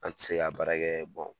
An ti se ka baara kɛɛ